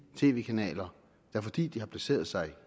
tv kanaler der fordi de har placeret sig